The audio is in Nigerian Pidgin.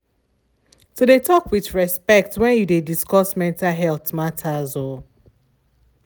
to de talk with respect wnt yu de discuss mental health matters.